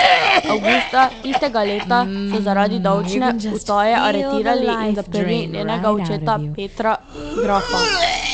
Avgusta tistega leta so zaradi davčne utaje aretirali in zaprli njenega očeta Petra Grafa.